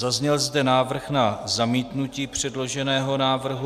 Zazněl zde návrh na zamítnutí předloženého návrhu.